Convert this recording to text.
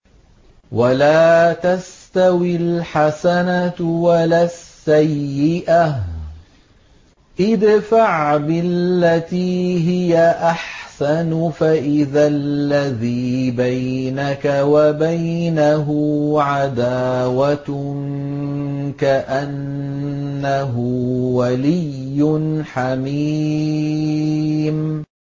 وَلَا تَسْتَوِي الْحَسَنَةُ وَلَا السَّيِّئَةُ ۚ ادْفَعْ بِالَّتِي هِيَ أَحْسَنُ فَإِذَا الَّذِي بَيْنَكَ وَبَيْنَهُ عَدَاوَةٌ كَأَنَّهُ وَلِيٌّ حَمِيمٌ